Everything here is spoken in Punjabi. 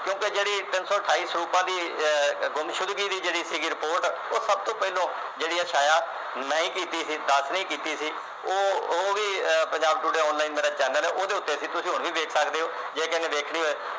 ਕਿਉਕਿ ਤਿੰਨ ਸੌ ਅਠਾਈ ਸਰੂਪਾਂ ਦੀ ਅਹ ਗੁਮਸ਼ੁਦਗੀ ਦੀ ਜਿਹੜੀ ਸੀਗੀ report ਉਹ ਸਭ ਤੋਂ ਪਹਿਲਾਂ ਜਿਹੜੀ ਆ ਛਾਇਆ ਮੈਂ ਹੀ ਕੀਤੀ ਸੀ ਦਾਸ ਨੇ ਕੀਤੀ ਸੀ ਉਹ ਉਹ ਵੀ ਅਹ ਪੰਜਾਬ today ਮੇਰਾ channel ਉਹ ਦੇ ਉਤੇ ਸੀ ਤੁਸੀ ਹੁਣ ਵੀ ਵੇਖ ਸਕਦੇ ਹੋ ਜੇ ਕਿਸੇ ਨੇ ਵੇਖਣੀ ਹੋਵੇ